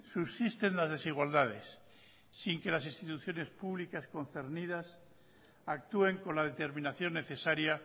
subsisten las desigualdades sin que las instituciones públicas concernidas actúen con la determinación necesaria